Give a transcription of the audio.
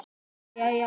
Kinkaði síðan kolli.